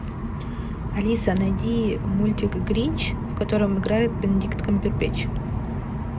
алиса найди мультик гринч в котором играет бенедикт камбербэтч